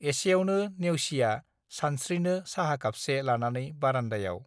एसेयावनो नेउसिया सानस्त्रिनो साहा खापसे लानानै बारान्दायाव